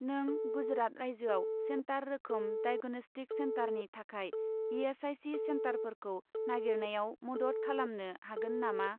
नों गुजरात रायजोआव सेन्टार रोखोम डाइग'नस्टिक सेन्टारनि थाखाय इ.एस.आइ.सि. सेन्टारफोरखौ नागिरनायाव मदद खालामनो हागोन नामा ?